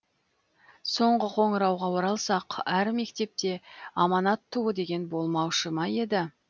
соңғы қоңырауға оралсақ әр мектепте аманат туы деген болмаушы ма еді